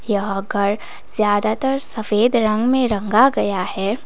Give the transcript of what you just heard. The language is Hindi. यह घर ज्यादातर सफेद रंग में रंगा गया है।